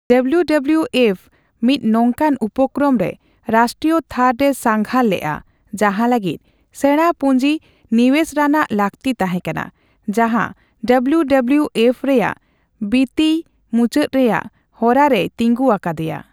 W W F ᱢᱤᱫ ᱱᱚᱝᱠᱟᱱ ᱩᱯᱠᱨᱚᱢ ᱨᱮ ᱨᱟᱥᱴᱨᱤᱭᱚ ᱛᱷᱟᱨ ᱨᱮ ᱥᱟᱸᱜᱷᱟᱨ ᱞᱮᱜᱼᱟ ᱡᱟᱦᱟᱸ ᱞᱟᱹᱜᱤᱫ ᱥᱮᱬᱟ ᱯᱩᱸᱡᱤ ᱱᱤᱣᱮᱥ ᱨᱟᱱᱟᱜ ᱞᱟᱹᱠᱛᱤ ᱛᱟᱦᱮᱸᱠᱟᱱᱟ, ᱡᱟᱦᱟᱸ ᱰᱟᱵᱽᱞᱩ ᱰᱟᱵᱽᱞᱤ ᱮᱯᱷ ᱨᱮᱭᱟᱜ ᱵᱤᱛᱤᱭᱚ ᱢᱩᱪᱟᱹᱫ ᱨᱮᱱᱟᱜ ᱦᱚᱨᱟ ᱨᱮᱭ ᱛᱤᱸᱜᱩ ᱟᱠᱟᱫ ᱫᱮᱭᱟ ᱾